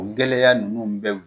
U gɛlɛya ninnu bɛ